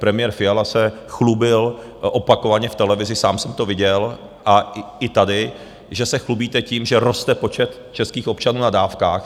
Premiér Fiala se chlubil opakovaně v televizi, sám jsem to viděl a i tady, že se chlubíte tím, že roste počet českých občanů na dávkách.